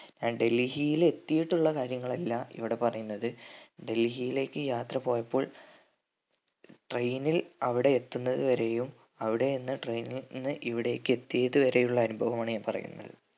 അഹ് ഡൽഹിയിൽ എത്തിയിട്ടുള്ള കാര്യങ്ങൾ അല്ല ഇവിടെ പറയുന്നത് ഡൽഹിയിലേക്ക് യാത്ര പോയപ്പോൾ train നിൽ അവിടെയെത്തുന്നതുവരെയും അവിടെനിന്ന് train നിന്ന് ഇവിടെക്ക് എത്തിയതു വരെയുള്ള അനുഭവമാണ് ഞാൻ പറയുന്നത്